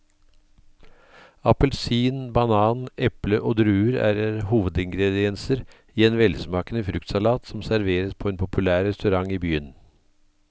Appelsin, banan, eple og druer er hovedingredienser i en velsmakende fruktsalat som serveres på en populær restaurant i byen.